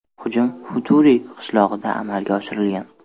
Hujum Futuri qishlog‘ida amalga oshirilgan.